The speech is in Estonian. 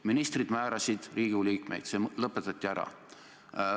Ministrid määrasid Riigikogu liikmeid, see lõpetati ära.